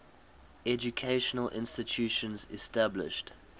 educational institutions established